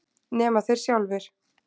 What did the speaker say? Nema þeir sjálfir.